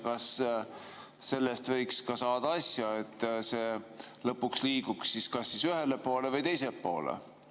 Kas sellest võiks saada asja, et see lõpuks liiguks kas ühele või teisele poole?